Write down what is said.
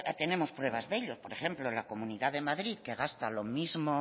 tenemos pruebas de ello por ejemplo la comunidad de madrid que gasta lo mismo